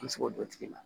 An bɛ se k'o dɔn tigi la